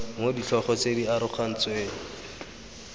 mo ditlhogo tse di arogantsweng